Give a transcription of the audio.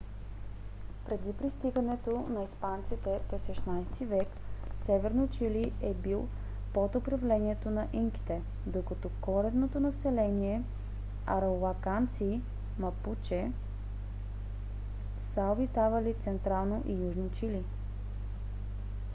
преди пристигането на испанците през 16 - ти век северно чили е бил под управлението на инките докато коренното население арауканци мапуче са обитавали централно и южно чили